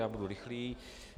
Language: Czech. Já budu rychlý.